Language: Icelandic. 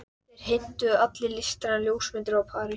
Þeir heimtuðu allir listrænar ljósmyndir frá París.